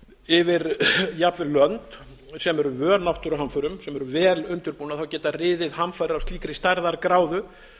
yfir jafnvel lönd sem eru vön náttúruhamförum sem eru vel undirbúnar geta riðið hamfarir af slíkri stærðargráðu